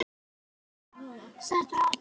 Vel að verki staðið!